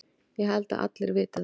Ég held að allir viti það.